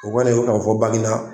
O kɔni ye k'a fɔ banginda